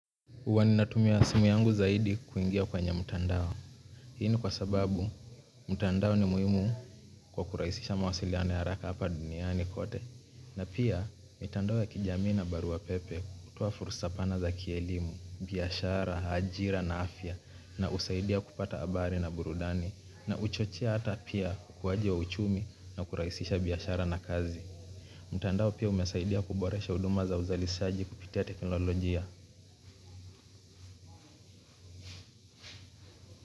Huwa ninatumia simu yangu zaidi kuingia kwenye mtandao. Hii ni kwa sababu, mtandao ni muhimu kwa kurahisisha mawasiliano ya haraka hapa duniani kote. Na pia, mitandao ya kijamii na barua pepe hutoa fursa pana za kielimu, biashara, ajira na afya na husaidia kupata habari na burudani. Na huchochea hata pia ukuaji wa uchumi na kurahisisha biashara na kazi. Mtandao pia umesaidia kuboresha huduma za uzalisaji kupitia teknolojia.